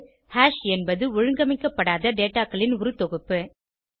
குறிப்பு ஹாஷ் என்பது ஒழுங்கமைக்கப்படாத dataகளின் ஒரு தொகுப்பு